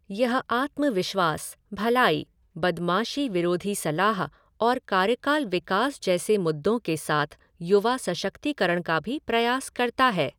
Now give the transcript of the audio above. यह आत्मविश्वास, भलाई, बदमाशी विरोधी सलाह और कार्यकाल विकास जैसे मुद्दों के साथ युवा सशक्तिकरण का भी प्रयास करता है।